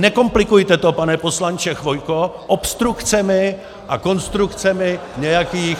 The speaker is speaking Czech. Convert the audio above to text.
Nekomplikujte to, pane poslanče Chvojko, obstrukcemi a konstrukcemi nějakých -